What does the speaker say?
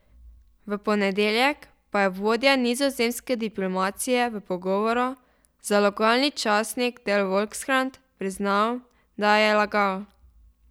V ponedeljek pa je vodja nizozemske diplomacije v pogovoru za lokalni časnik De Volkskrant priznal, da je lagal.